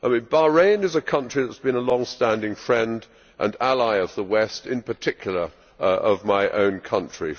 Bahrain is a country that has been a longstanding friend and ally of the West, and in particular of my own country.